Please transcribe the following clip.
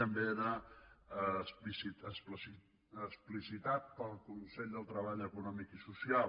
també era explicitat pel consell de treball econòmic i social